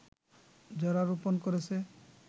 যারা রোপন করেছে